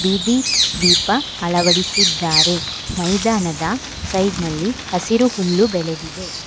ಬೀದಿ ದೀಪ ಅಳವಡಿಸಿದ್ದಾರೆ ಮೈದಾನದ ಸೈಡ್ನಲ್ಲಿ ಹಸಿರು ಹುಲ್ಲು ಬೆಳೆದಿದೆ.